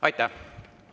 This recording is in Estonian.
Aitäh!